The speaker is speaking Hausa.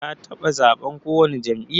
Ka taba zaɓen ko wani jam'iyya?